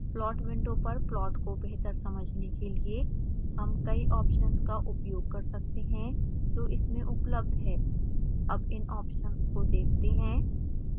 plot window पर plot को बेहतर समझने के लिए हम कई ऑप्शन्स का उपयोग कर सकते हैं जो इसमें उपलब्ध हैं अब इन ऑप्शन्स को देखते हैं